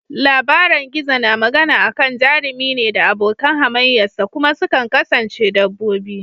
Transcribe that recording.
Labaran gizo na magana akan jarumi ne da abokin hamayya sa, kuma sukan kasance dabbobi.